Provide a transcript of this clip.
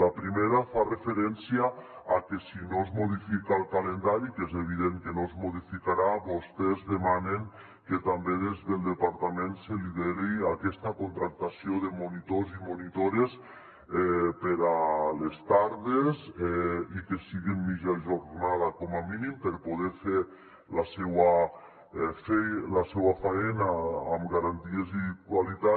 la primera fa referència a que si no es modifica el calendari que és evident que no es modificarà vostès demanen que també des del departament se lideri aquesta contractació de monitors i monitores per a les tardes i que siguin mitja jornada com a mínim per poder fer la seua faena amb garanties i qualitat